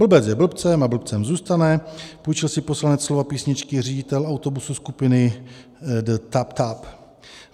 Blbec je blbcem a blbcem zůstane, půjčil si poslanec slova písničky Řiditel autobusu skupiny The Tap Tap.